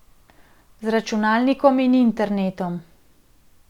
Z računalnikom in internetom.